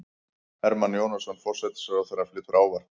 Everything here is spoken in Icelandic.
Hermann Jónasson, forsætisráðherra, flytur ávarp.